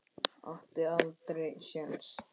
Átti aldrei sjens.